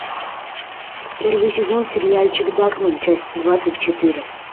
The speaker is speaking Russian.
первый сезон сериальчик дакмен часть двадцать четыре